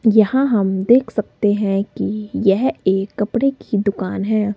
यहाँ हम देख सकते हैं कि यह एक कपड़े की दुकान है।